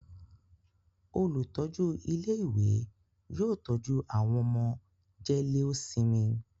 Olùtọ́jú ilé-ìwé yóò tọ́jú àwọn ọmọ jẹ́léósinmi.